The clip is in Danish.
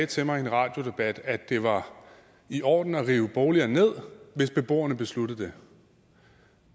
til mig i en radiodebat at det var i orden at rive boliger ned hvis beboerne besluttede det